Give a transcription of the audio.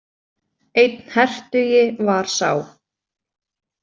Einn hertugi var sá.